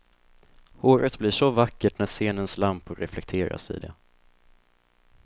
Håret blir så vackert när scenens lampor reflekteras i det.